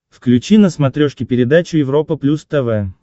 включи на смотрешке передачу европа плюс тв